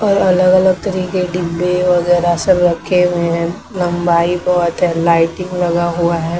और अलग-अलग तरीके डिब्बे वगैरह सब रखे हुए हैं लंबाई बहुत है लाइटिंग लगा हुआ है।